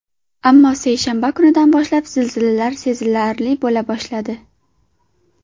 Ammo seshanba kunidan boshlab zilzilalar sezilarli bo‘la boshladi.